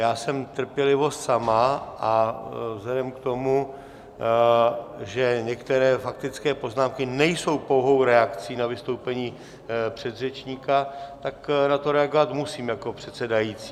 Já jsem trpělivost sama, a vzhledem k tomu, že některé faktické poznámky nejsou pouhou reakcí na vystoupení předřečníka, tak na to reagovat musím jako předsedající.